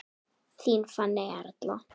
Þín Fanney Erla.